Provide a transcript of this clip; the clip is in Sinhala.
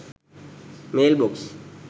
mailbox